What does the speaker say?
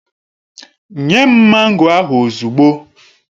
Nye m mango ahụ ozugbo!